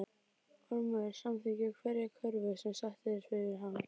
Ormur samþykkir hverja kröfu sem sett er fyrir hann.